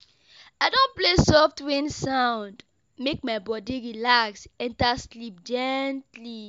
I don play soft rain sound, make my body relax enter sleep gently.